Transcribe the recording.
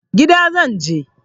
Gida zan je.